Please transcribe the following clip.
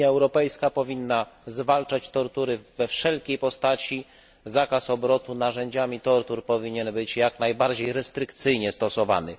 Unia Europejska powinna zwalczać tortury we wszelkiej postaci, zakaz obrotu narzędziami tortur powinien być jak najbardziej restrykcyjnie stosowany.